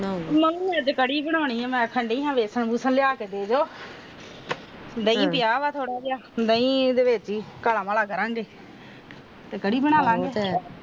ਮੈਂ ਵੀ ਅੱਜ ਕੜੀ ਬਣਾਉਣੀ ਆ ਇਹਨਾਂ ਨੂੰ ਆਖਣ ਦਇ ਵੇਸਨ ਵੁਸਨ ਲਿਆ ਕੇ ਦੇਦੋ ਦਾਹੀ ਪਿਆ ਆ ਥੋੜਾ ਜਿਹਾ ਦਾਹੀ ਦਾ ਹੀ ਕਾਲਾ ਮਾਲਾ ਕਰਾਂਗੇ ਤੇ ਕੜੀ ਬਨਾਲਾਗੇ